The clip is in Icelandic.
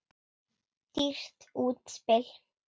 Dýrt útspil.